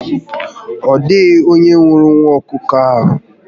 Odịghị onye hụrụ nwa ọkụkọ ahụ